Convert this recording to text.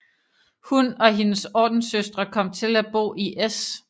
Hun og hendes ordenssøstre kom til at bo i S